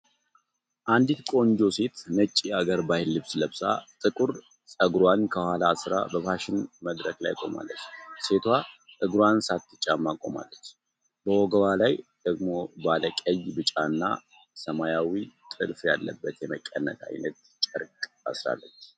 አንዲት ቆንጆ ሴት ነጭ የሀገር ባህል ልብስ ለብሳ፣ ጥቁር ፀጉሯን ከኋላ አስራ፣ በፋሽን መድረክ ላይ ቆማለች። ሴቷ እግሯን ሳትጫማ ቆማለች፤ በወገቧ ላይ ደግሞ ባለ ቀይ፣ ቢጫና ሰማያዊ ጥልፍ ያለበት የመቀነት አይነት ጨርቅ አስራለች።